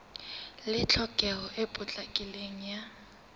le tlhokeho e potlakileng ya